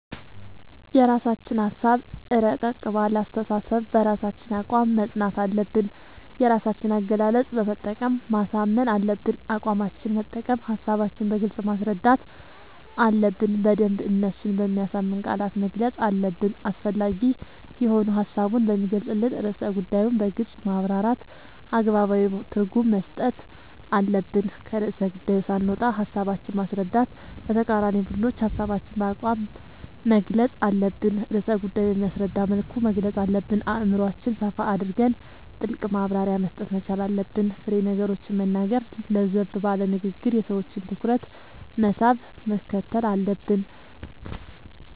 የራስችን ሀሳብ እረቀቅ ባለ አስተሳሰብ በራሳችን አቋም መፅናት አለብን የራሳችን አገላለፅ በመጠቀም ማሳመን አለብን አቋማችን መጠቀም ሀሳባችን በግልጽ ማስረዳት አለብን በደንብ እነሱን በሚያሳምን ቃላት መግለፅ አለብን አስፈላጊ የሆኑ ሀሳቡን በሚገልፅን ርዕሰ ጉዳዮን በግልፅ ማብራራት አገባባዊ ትርጉም መስጠት አለብን። ከርዕሰ ጉዳዪ ሳንወጣ ሀሳባችን ማስረዳት ለተቃራኒ ቡድኖች ሀሳባችን በአቋም መግልፅ አለብን ርዕሰ ጉዳይ በሚያስረዳ መልኩ መግለፅ አለብን አእምሮአችን ሰፋ አድርገን ጥልቅ ማብራሪያ መስጠት መቻል አለብን። ፋሬ ነገሮችን መናገር ለዘብ ባለ ንግግር የሰዎችን ትኩረት መሳብ ምክትል አለብን።…ተጨማሪ ይመልከቱ